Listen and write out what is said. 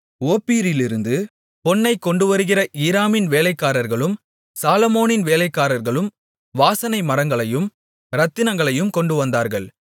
ஓப்பீரிலிருந்து பொன்னைக் கொண்டுவருகிற ஈராமின் வேலைக்காரர்களும் சாலொமோனின் வேலைக்காரர்களும் வாசனை மரங்களையும் இரத்தினங்களையும் கொண்டுவந்தார்கள்